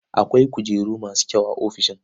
Akwai kujeru masu kyau a ofishin.